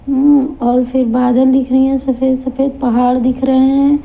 और फिर बादल दिख रही हैं सफेद सफेद पहाड़ दिख रहे हैं।